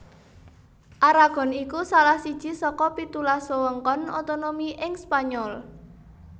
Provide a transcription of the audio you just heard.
Aragon iku salah siji saka pitulas wewengkon otonomi ing Spanyol